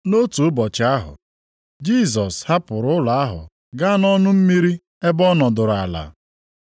Nʼotu ụbọchị ahụ, Jisọs hapụrụ ụlọ ahụ gaa nʼọnụ mmiri ebe ọ nọdụrụ ala.